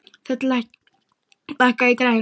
Þöll, lækkaðu í græjunum.